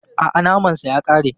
A'a, naman sa ya ƙare.